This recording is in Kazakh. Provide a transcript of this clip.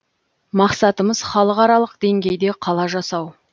мақсатымыз халықаралық деңгейде қала жасау